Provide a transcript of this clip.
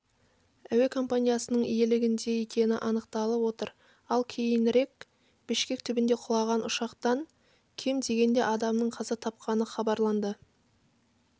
әуе компаниясының иелігінде екені анықталып отыр ал кейінірекбішкек түбінде құлаған ұшақтанкем дегенде адамның қаза тапқаныхабарланды